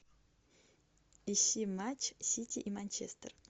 ищи матч сити и манчестер